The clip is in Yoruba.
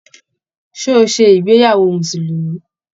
Ṣé o ṣe ìgbéyàwó musulumi?